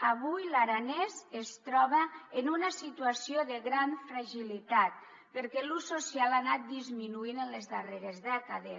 avui l’aranès es troba en una situació de gran fragilitat perquè l’ús social ha anat disminuint en les darreres dècades